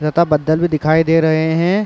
लता बद्दल भी दिखाई दे रहे हैं।